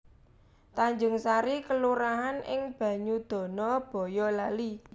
Tanjungsari kelurahan ing Banyudana Bayalali